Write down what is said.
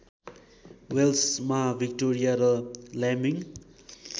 वेल्समा Victoria र ल्याम्बिङ